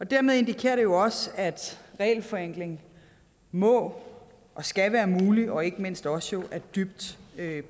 dermed indikerer det jo også at regelforenkling må og skal være muligt og ikke mindst også er dybt